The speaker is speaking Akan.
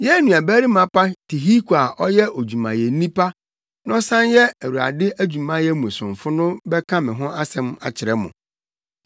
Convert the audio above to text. Yɛn nuabarima pa Tihiko a ɔyɛ odwumayɛni pa na ɔsan yɛ Awurade adwumayɛ mu somfo no bɛka me ho asɛm akyerɛ mo.